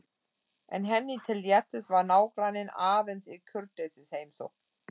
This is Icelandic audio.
En henni til léttis var nágranninn aðeins í kurteisisheimsókn.